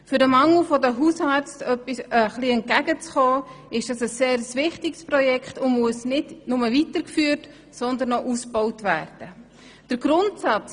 Es ist ein sehr wichtiges Projekt, um dem Mangel an Hausärzten entgegenzuwirken und muss nicht nur weitergeführt, sondern auch ausgebaut werden.